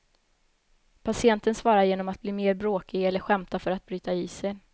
Patienten svarar genom att bli mer bråkig eller skämta för att bryta isen.